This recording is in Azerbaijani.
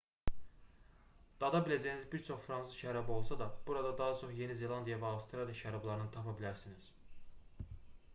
dada biləcəyiniz bir çox fransız şərabı olsa da burada daha çox yeni zelandiya və avstraliya şərablarını tapa bilərsiniz